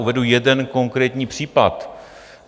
Uvedu jeden konkrétní případ.